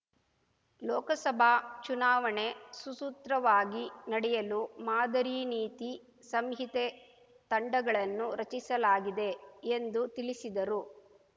ಲೋಕಸಭಾ ಚುನಾವಣೆ ಸುಸೂತ್ರವಾಗಿ ನಡೆಯಲು ಮಾದರಿ ನೀತಿ ಸಂಹಿತೆ ತಂಡಗಳನ್ನು ರಚಿಸಲಾಗಿದೆ ಎಂದು ತಿಳಿಸಿದರು